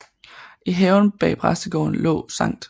I haven bag præstegården lå Skt